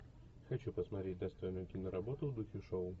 хочу посмотреть достойную киноработу в духе шоу